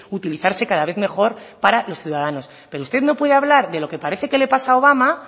utilizarse cada vez mejor para los ciudadanos pero usted no puede hablar de lo que parece que le pasa a obama